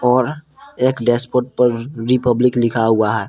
और एक डैशबोर्ड पर रिपब्लिक लिखा हुआ है।